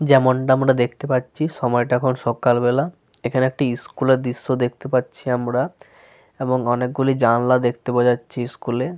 যেমনটা আমরা দেখতে পাচ্ছি সময়টা এখন সকালবেলা। এখন একটি স্কুল এর দৃশ্য দেখতে পাচ্ছি আমরা এবং অনেকগুলি জানলাও দেখতে পাওয়া যাচ্ছে স্কুলে ।